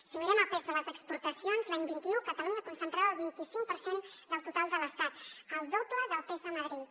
si mirem el pes de les exportacions l’any vint un catalunya concentrava el vint i cinc per cent del total de l’estat el doble del pes de madrid